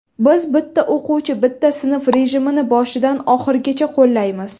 Biz ‘Bitta o‘quvchi bitta sinf’ rejimini boshidan oxirigacha qo‘llaymiz.